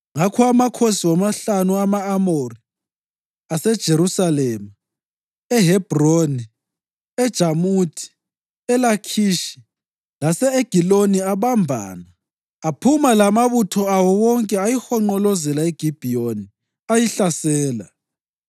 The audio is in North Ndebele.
Ngakho amakhosi womahlanu ama-Amori, aseJerusalema, eHebhroni, eJamuthi, eLakhishi lase-Egiloni abambana. Aphuma lamabutho awo wonke ayihonqolozela iGibhiyoni ayihlasela.